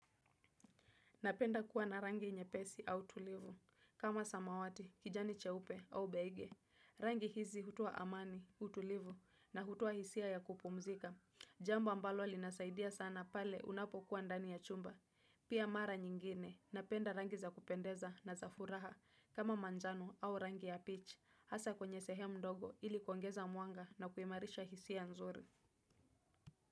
Napenda kuwa na rangi nyepesi au tulivu. Kama samawati, kijani cheupe au beige. Rangi hizi hutoa amani, utulivu na hutoa hisia ya kupumzika. Jambo ambalo linasaidia sana pale unapokuwa ndani ya chumba. Pia mara nyingine. Napenda rangi za kupendeza na za furaha kama manjano au rangi ya peach. Hasa kwenye sehemu ndogo ili kuongeza mwanga na kuimarisha hisia nzuri.